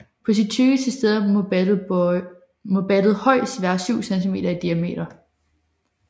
På sit tykkeste sted må battet højst være 7 cm i diameter